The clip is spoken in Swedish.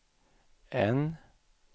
N